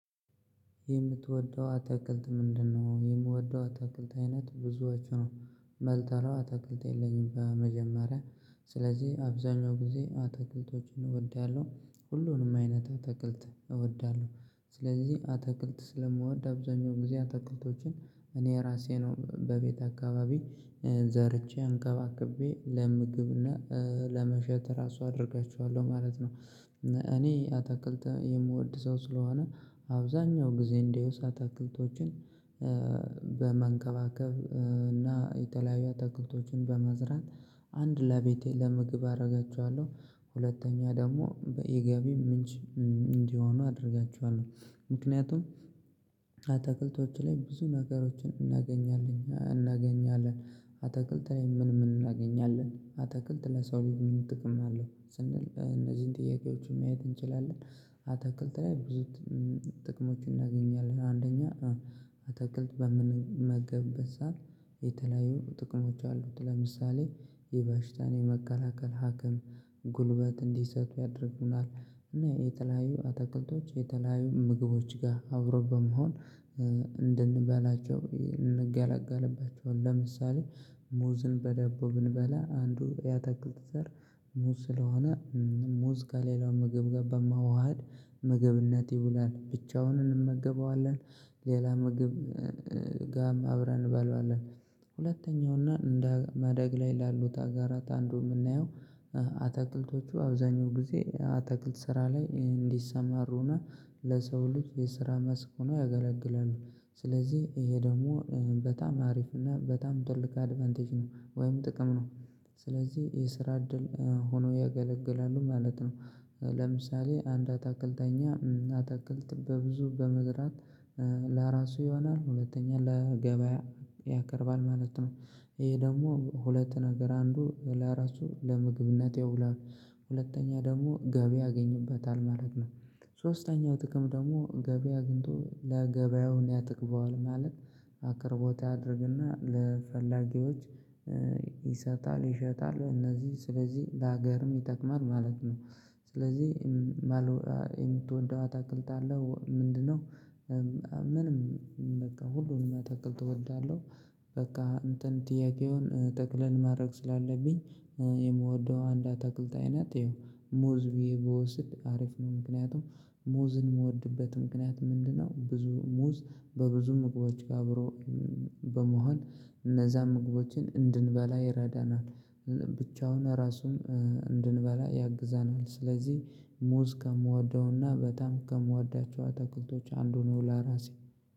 የምትወደው አትክልት ምንድነው? የምወደው አትክልት አይነት ብዙዎቹ ነው መልጠላው አትክልት የለኝም። በመጀመሪያ ስለዚህ አብዛኛው ጊዜ አትክልቶችን እወዳለሁ ሁሉንም አይነት አተክልት እወዳለሁ። ስለዚህ አተክልት ስለምወድ አብዛኛውን ጊዜ አተክልቶችን እኔ ራሴ ነው በቤት አካባቢ ዘርቼ አንከባክቤ ለምግብና ለመሸጥ ራሱ አደርጋችኋለሁ ማለት ነው። እኔ አታክልት የምወድ ሰው ስለሆነ አብዛኛው ጊዜ እንዲዉስ አታክልቶችን በመንከባከብ እና የተለያዩ አታክልቶችን በመዝራት አንድ ለቤቴ ለምግብ አረጋቸዋለሁ። ሁለተኛ ደግሞ በኢ የገቢ ምንጭ እንዲሆኑ አደርጋችኋለሁ። ምክንያቱም አትክልቶች ላይ ብዙ ነገሮችን እናገኛለን እናገኛለን አታክልት ላይ ምን ምን እናገኛለን አታክልት ለሰው ልጅ ብዙ ጥቅም አለው ስንል እነዚህን ጥያቄዎች ማየት እንችላለን። አትክልት ላይ ብዙ ጥቅሞችን እናገኛለን አንደኛ አትክልት በምንመገብበት ሰዓት የተለያዩ ጥቅሞች አሉት ለምሳሌ የበሽታን የመከላከል ሀክም ጉልበት እንዲሰጡ ያደርጉናል። እና የተለያዩ አታክልቶች የተለያዩ ምግቦች ጋር አብሮ በመሆን እንድንበላቸው እንገላጋለባቸዋው። ለምሳሌ ሙዝን በዳቦ ብንበላ አንዱ ያታክልት ዘር ሙዝ ስለሆነ ሙዝ ከሌላው ምግብ ጋር በመዋሃድ ምግብነት ይዉላል ብቻውን እንመገበዋለን ሌላ ምግብ ጋም አብረን እንበላዋለን። ሁለተኛው እና እንደ ማደግ ላይ ላሉት አጋራት አንዱ የምናየው አትክልቶቹ አብዛኛው ጊዜ አትክልት ስራ ላይ እንዲሰማሩና ለሰው ልጅ የስራ መስክ ሆኖ ያገለግላሉ። ስለዚህ ይሄ ደግሞ በጣም አሪፍ እና በጣም ትልቅ አድቫንቴጅ ነው ወይም ጥቅም ነው። ስለዚህ የስራ እድል ሆኖ ያገለግላሉ ማለት ነው። ለምሳሌ አንድ አታክልተኛ አታክልት በብዙ በመዝራት ለራሱ ይሆናል ሁለተኛ ለገበያ ያቀርባል ማለት ነው። ይሄ ደግሞ ሁለት ነገር አንዱ ለራሱ ለምግብነት ያውላል ሁለተኛ ደግሞ ገቢ ያገኙበታል ማለት ነው። ሶስተኛው ጥቅም ደግሞ ገቢ አግኝቶ ለገበያው ያጠግበዋል ማለት አቅርቦት ያደርግና ለፈላጊዎች ይሰጣል ይሸጣል እነዚህ ስለዚህ ለሀገርም ይጠቅማል ማለት ነው። ስለዚህ የምትወደው አታክልት አለ ምንድነው? ምንም በቃ ሁሉንም አታክልት እወዳለህ? በቃ እንትን ጥያቄውን ጠቅለን ማድረግ ስላለብኝ የምወደው አንድ አታክልት አይነት ይኸው ሙዝ ብዬ ብወስድ አሪፍ ነው። ምክንያቱም ሙዝን የምወድበት ምክንያት ምንድነው ብዙ ሙዝ በብዙ መግቦች ጋር አብሮ በመሆን እነዛ ምግቦችን እንድንበላ ይረዳናል። ብቻውን ራሱን እንድንበላ ያግዛል። ስለዚህ ሙዝ ከምወደውና በጣም ከምወዳቸው አተክልቶች አንዱ ነው። ላራሴ